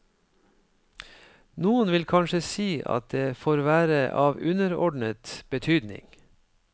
Noen vil kanskje si at det får være av underordnet betydning.